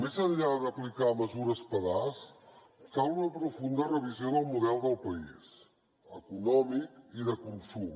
més enllà d’aplicar mesures pedaç cal una profunda revisió del model del país econòmic i de consum